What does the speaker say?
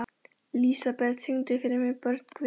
Lísebet, syngdu fyrir mig „Börn Guðs“.